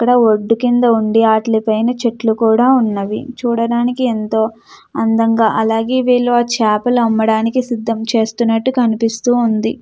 ఇక్కడ ఒడ్డు ఉండి ఆటిలా పైన చెట్లు కూడా ఉన్నవి. చూడడానికి ఎంతో అందంగా అలాగే వీళ్ళు ఆ చాపలు అమ్మడానికి సిద్దం చేస్తున్నట్లు కనిపిస్తూవుంది.